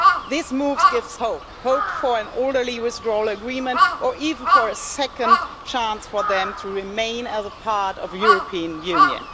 This move gives hope hope for an orderly withdrawal agreement or even for a second chance for them to remain as a part of the European Union.